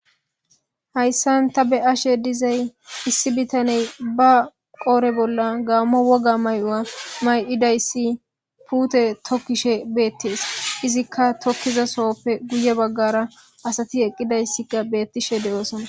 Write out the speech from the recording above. hayssan ta be ashe dizay issi bitaney ba qoore bolla gaammo woga may7oa may7idayssi puute tokkishe beettees izikka tokkiza sohoppe guye baggara asati eqqidayssika beettishe de7oosona